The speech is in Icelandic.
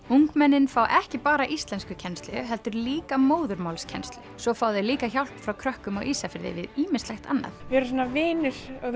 ungmennin fá ekki bara íslenskukennslu heldur líka móðurmálskennslu svo fá þau líka hjálp frá krökkum á Ísafirði við ýmislegt annað við erum svona vinir og